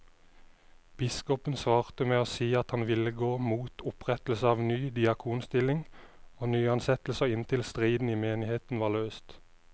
Biskopen svarte med å si at han ville gå mot opprettelse av ny diakonstilling og nyansettelser inntil striden i menigheten var løst.